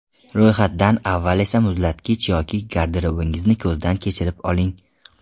Ro‘yxatdan avval esa muzlatkich yoki garderobingizni ko‘zdan kechirib oling.